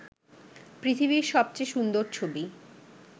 পৃথিবীর সবচেয়ে সুন্দর ছবি